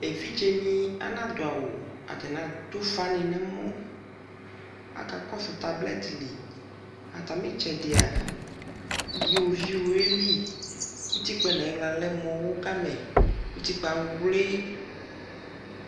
ɛvidzɛ ni adadʋ awʋ atani adʋ ʋƒa ni nʋ ɛmɔ, aka kɔsʋ tablet li, atami itsɛdia iwɔviʋ yɛli, ʋtikpaɛ nʋ ayila alɛ mʋ ɔwʋ gamɛ ʋtikpaɛ awli